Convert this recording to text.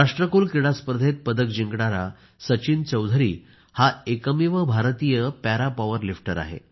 राष्ट्रकुल क्रीडा स्पर्धेत पदक जिंकणारा सचिन चौधरी हा एकमेव भारतीय पॅरा पॉवर लिफ्टर आहे